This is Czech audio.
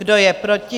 Kdo je proti?